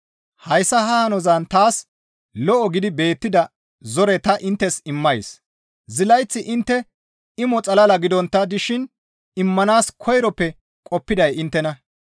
Hayssa ha hanozan taas lo7o gidi beettida zore ta inttes immays; zilayth intte imo xalla gidontta dishin immanaas koyroppe qoppiday inttena.